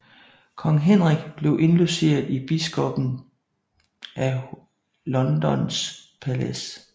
Kong Henrik blev indlogeret i biskoppen af Londons palads